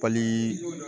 Pali